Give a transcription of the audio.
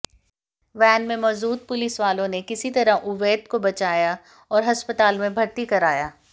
van में मौजूद पुलिसवालों ने किसी तरह उवैद को बचाया और अस्पताल में भर्ती कराया